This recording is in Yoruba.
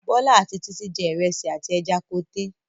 Bọ́lá àti Títí jẹ ìrẹsì àti ẹja koté.